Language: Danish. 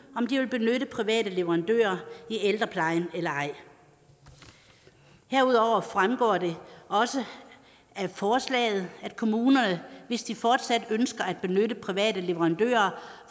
om de vil benytte private leverandører i ældreplejen eller ej herudover fremgår det også af forslaget at kommunerne hvis de fortsat ønsker at benytte private leverandører